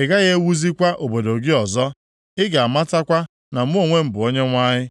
A gaghị ewuzikwa obodo gị ọzọ. Ị ga-amatakwa na mụ onwe m bụ Onyenwe anyị.